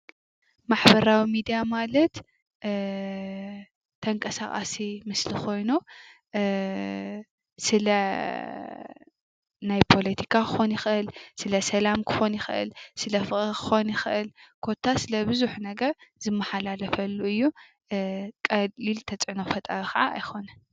ማሕበራዊ ሚድያ ማለት አ ተንቀሳቀሲ ምስሊ ኾይኑ አ ስለ ናይ ፖለቲካ ክኾን ይኽእል፣ ስለ ሰላም ክኾን ይኽእል ፣ስለ ፍቅሪ ክኾን ይኽእል ኮታስ ለብዙሕ ነገር ዝመሓላለፈሉ እዪ። አ ቀሊል ተፅዕኖ ፈጣሪ ከዓ ኣይኾነን ።